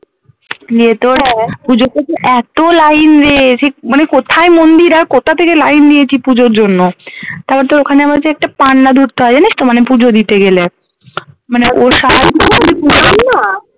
গিয়ে তোর পুজোর কাছে এত line রে সে মানে কোথায় মন্দির আর কোথা থেকে line দিয়েছি পুজোর জন্য তারপর তোর ওখানে আবার যে একটা পান্ডা ধরতে হয় জানিস তো মানে পুজো দিতে গেলে মানে ও